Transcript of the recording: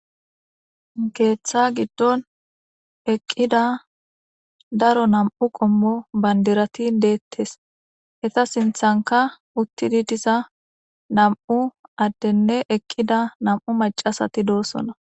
keeththa giddon eqqida daro nam7u qommo bandirati deettes heta sinthanka uttidi diza nam7u addenne eqqida nam7u macasati doosona